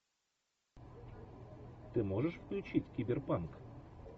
ты можешь включить киберпанк